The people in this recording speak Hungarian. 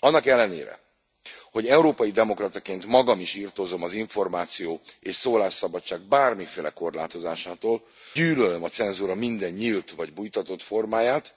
Annak ellenére, hogy európai demokrataként magam is irtózom az információ és szólásszabadság bármiféle korlátozásától, gyűlölöm a cenzúra minden nyílt vagy bújtatott formáját,